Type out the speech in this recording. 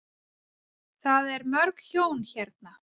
Það er mörg hjón hérna.